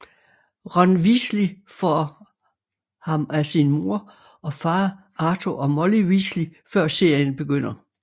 Ron Weasley får ham af sin mor og far Arthur og Molly Weasley før serien begynder